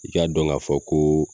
I k'a dɔn k'a fɔ ko